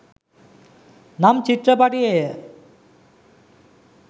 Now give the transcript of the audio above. නම්‍ ‍චිත්‍ර‍ප‍ටි‍යේ‍ය.